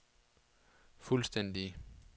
fuldstændig